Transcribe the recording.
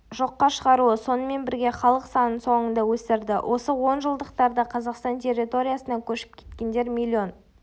жоққа шығаруы сонымен бірге халық санын соңында өсірді осы онжылдықтарда қазақстан территориясынан көшіп кеткендер миллион